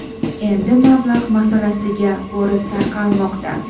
Endi mablag‘ masalasiga borib taqalmoqda.